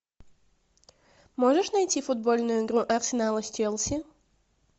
можешь найти футбольную игру арсенала с челси